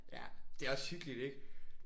Ja. Det er også hyggeligt ik?